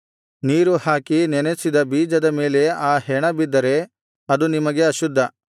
ನೀರು ಹಾಕಿ ನೆನಸಿದ ಬೀಜದ ಮೇಲೆ ಆ ಹೆಣ ಬಿದ್ದರೆ ಅದು ನಿಮಗೆ ಅಶುದ್ಧ